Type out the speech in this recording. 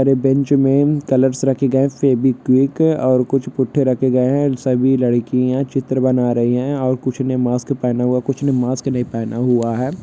और ये बेंच में कलर्स रखे गए है और फेविक्विक और कुछ पुट्ठे रखे गए है सभी लडकिये चित्र बना रही है और कुछ ने मास्क पहना हुआ है और कुछ ने मास्क नही पहना हुआ है।